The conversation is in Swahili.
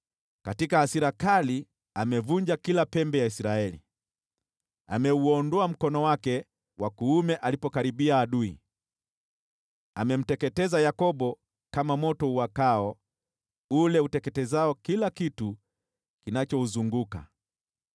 Katika hasira kali amevunja kila pembe ya Israeli. Ameuondoa mkono wake wa kuume alipokaribia adui. Amemteketeza Yakobo kama moto uwakao ule uteketezao kila kitu kinachouzunguka.